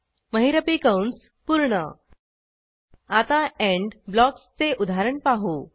महिरपी कंस पूर्ण आता एंड ब्लॉक्सचे उदाहरण पाहू